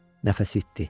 Nəfəsi itdi.